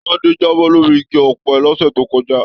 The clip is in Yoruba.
Tade jábọ́ lórí igi ọpẹ l'ọsẹ to kọjá.